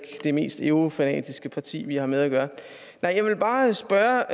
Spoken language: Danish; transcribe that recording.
det mest eurofanatiske parti vi har med at gøre jeg vil bare spørge